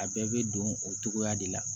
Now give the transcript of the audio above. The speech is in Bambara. A bɛɛ bɛ don o togoya de la